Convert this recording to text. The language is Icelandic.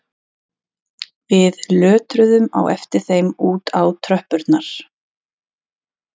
Við lötruðum á eftir þeim út á tröppurnar